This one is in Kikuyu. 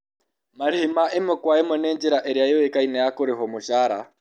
Marĩhi ma ĩmwe kwa ĩmwe nĩ njĩra ĩrĩa yũĩkaine ya kũrĩhĩrwo mũcaara.